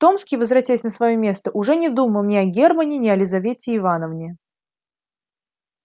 томский возвратясь на своё место уже не думал ни о германне ни о лизавете ивановне